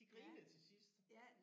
De grinede til sidst